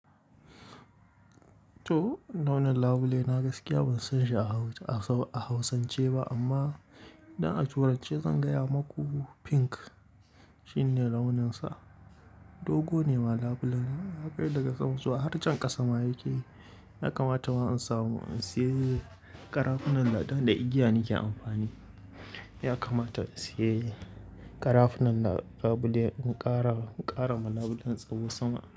To launin labule na gaskiya ban san shi a Hausa a Hausance ba amma idan a turance zan gaya maku pink shine launin sa. Dogo ne ma labulen nan haka yi daga sama zuwa har can ƙasa ma yake. Ya kamata wa in samu in sayi ƙarafunan ɗan da igiya nake amfani. Ya kamata in sayi ƙarafunan labule in ƙara ƙara ma labulen tsawo sama.